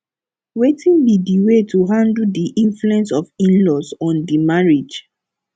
wetin be di way to handle di influence of inlaws on di marriage